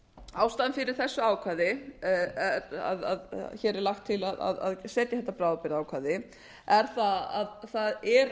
ástæðan fyrir því að lagt er til að setja þetta bráðabirgðaákvæði er að það er